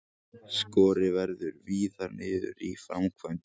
Skorið verður víðar niður í framkvæmdum